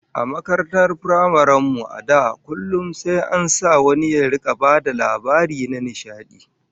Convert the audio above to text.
A makarantar firamaren mu, a da, kullum sai an sa wani ya bada labari na nishadi